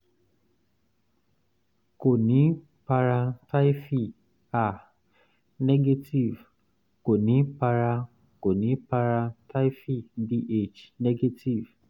kò ní para typhi ah negative kò ní para kò ní para typhi bh negative